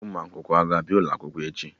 Ndị Pupilụ aga abịa ụlọ akwụkwọ echi?